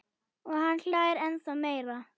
Og hann hlær ennþá meira.